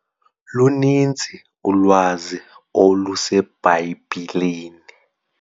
Luninzi ulwazi oluseBhayibhileni.